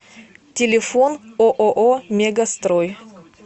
телефон ооо мегастрой